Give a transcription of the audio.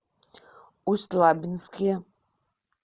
усть лабинске